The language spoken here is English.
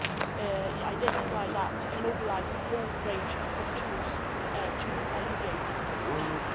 We could identify that and mobilise a whole range of tools to alleviate the pressure.